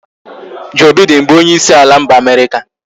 Joe Biden bụ onyeisi ala mba America